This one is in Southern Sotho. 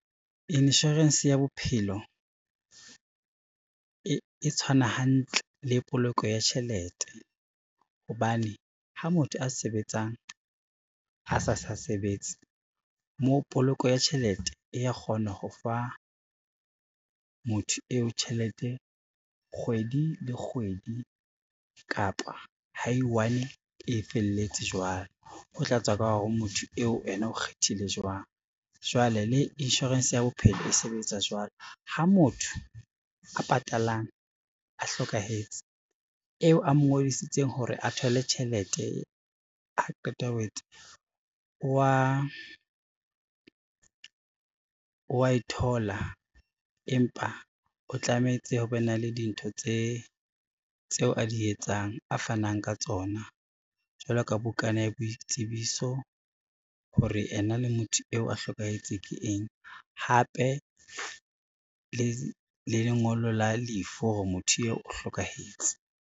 Insurance ya bophelo e tshwana hantle le poloko ya tjhelete, hobane ha motho a sebetsang a sa sa sebetse moo poloko ya tjhelete e ya kgona ho fa motho eo tjhelete kgwedi le kgwedi kapa ha i-one e felletse jwale, ho tla tswa ka hore motho eo ena o kgethile jwang Jwale le insurance ya bophelo e sebetsa jwalo ha motho a patalang a hlokahetse, eo a mo ngodisitseng hore a thole tjhelete ha qeta ho etsa wa e thola, empa o tlametse o be na le dintho tse tseo a di etsang, a fanang ka tsona jwalo ka bukana ya boitsebiso, hore ena le motho eo a hlokahetse ke eng hape le lengolo la lefu hore motho eo o hlokahetse.